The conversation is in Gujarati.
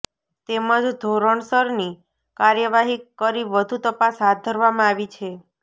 તેમજ ધોરણસરની કાર્યવાહી કરી વધુ તપાસ હાથ ધરવામાં આવી છે